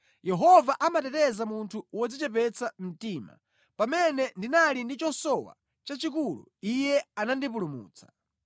Yehova amateteza munthu wodzichepetsa mtima; pamene ndinali ndi chosowa chachikulu, Iye anandipulumutsa.